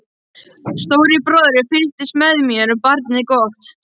Stóri bróðir fylgist með þér, barnið gott.